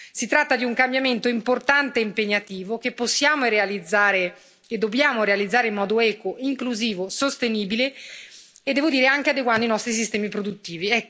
Si tratta di un cambiamento importante e impegnativo che possiamo realizzare e che dobbiamo realizzare in modo equo, inclusivo, sostenibile e, devo dire, anche adeguando i nostri sistemi produttivi.